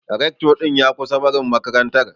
Recto din ya kusan barin makarantar.